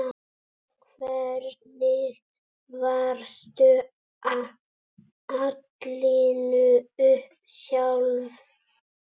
Hvernig varstu alin upp sjálf?